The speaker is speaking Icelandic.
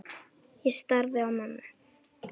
Ég starði á mömmu.